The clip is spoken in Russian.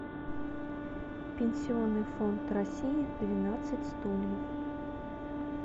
пенсионный фонд россии двенадцать стульев